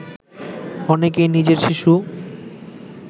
অনেকেই নিজের শিশু